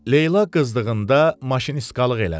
Leyla qızdığında maşınistkalıq eləmişdi.